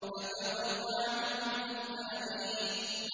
فَتَوَلَّ عَنْهُمْ حَتَّىٰ حِينٍ